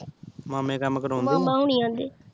ਮਾਮੇ ਕਾਮ ਕਰਾਉਂਦੇ